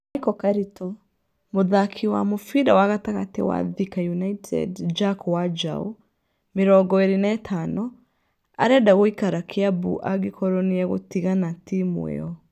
(Michael Karito) muthaki wa mũbira wa gatagatĩ wa Thika United Jack Wanjaũ, 25, arenda gũikara Kiambu angĩkorwo nĩ egũtigana Timu io.